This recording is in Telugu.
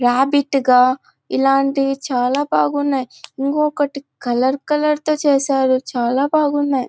రాబిట్ గా ఇలాటివి చాల బాగునాయ్ ఇంకుకటి కలర్ కలర్ తో చేసారు చాలబాగునయ్.